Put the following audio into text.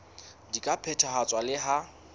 di ka phethahatswa le ha